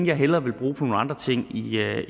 jeg hellere vil bruge på nogle andre ting